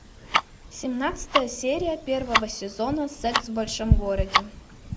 семнадцатая серия первого сезона секс в большом городе